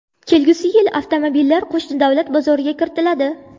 Kelgusi yil esa avtomobillar qo‘shni davlat bozoriga kiritiladi.